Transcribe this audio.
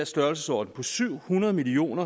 størrelsesorden på syv hundrede million